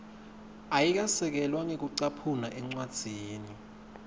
ayikasekelwa ngekucaphuna encwadzini